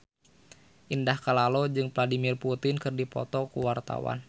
Indah Kalalo jeung Vladimir Putin keur dipoto ku wartawan